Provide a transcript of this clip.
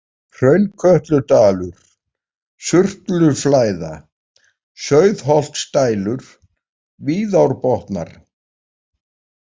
Hraunkötludalur, Surtluflæða, Sauðholtsdælur, Víðárbotnar